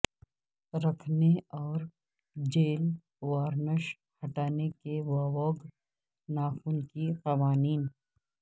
رکھنے اور gel varnish ہٹانے کے ووگ ناخن کے قوانین